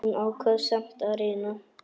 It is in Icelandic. Hún ákvað samt að reyna.